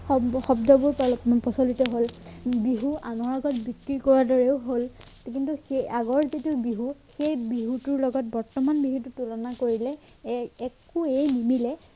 শব্দ শব্দবোৰ পেল~প্ৰচলিত হ'ল বিহু আনৰ আগত বিক্ৰী কৰাৰ দৰেও হ'ল কিন্তু সেই আগৰ যিটো সেই বিহুটোৰ বৰ্তমান বিহুটো তুলনা কৰিলে একোৱেই নিমিলে